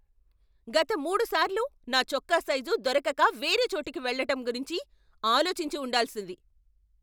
గత మూడుసార్లు నా చొక్కా సైజు దొరకక వేరే చోటికి వెళ్లటం గురించి ఆలోచించి ఉండాల్సింది.